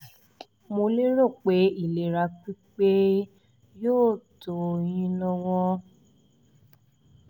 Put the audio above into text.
mo lérò pé ìlera pípé yóò tó ó yín lọ́wọ́